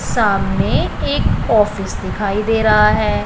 सामने एक ऑफिस दिखाई दे रहा है।